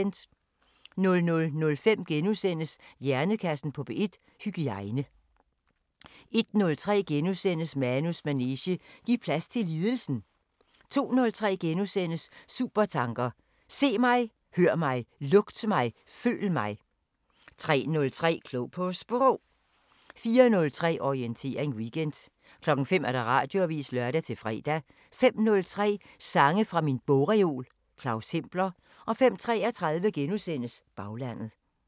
00:05: Hjernekassen på P1: Hygiejne * 01:03: Manus manege: Giv plads til lidelsen * 02:03: Supertanker: Se mig, hør mig, lugt mig, føl mig * 03:03: Klog på Sprog 04:03: Orientering Weekend 05:00: Radioavisen (lør-fre) 05:03: Sange fra min bogreol – Claus Hempler 05:33: Baglandet *